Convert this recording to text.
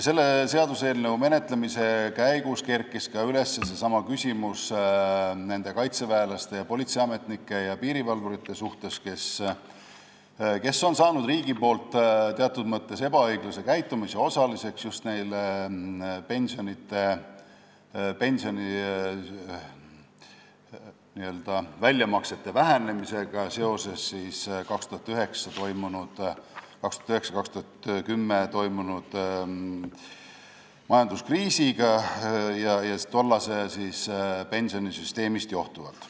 Selle seaduseelnõu menetlemise käigus kerkis nende kaitseväelaste, politseiametnike ja piirivalvurite küsimus, kes on saanud teatud mõttes riigi ebaõiglase käitumise osaliseks, kuna just neil vähenesid pensioni n-ö väljamaksed seoses 2009. ja 2010. aasta majanduskriisiga ja tollasest pensionisüsteemist johtuvalt.